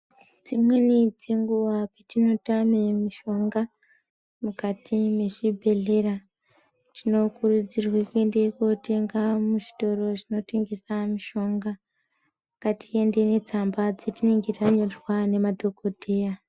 Dzimweni dzenguwa petinotame mishonga mukati mezvibhedhlera, tinokurudzirwa kuende kootenga muzvitoro zvinotengesa mushonga. Ngatiende netsamba dzatinenge tanyorerwa ngemadhokoteya